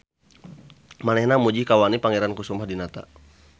Manehna muji kawani Pangeran Kusumah Dinata.